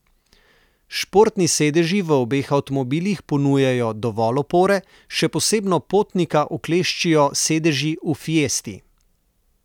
Športni sedeži v obeh avtomobilih ponujajo dovolj opore, še posebno potnika ukleščijo sedeži v fiesti.